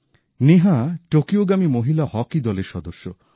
নেহা টোকিওগামী মহিলা হকি দলের সদস্য